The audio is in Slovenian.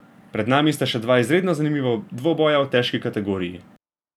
Pred nami sta še dva izredno zanimiva dvoboja v težki kategoriji.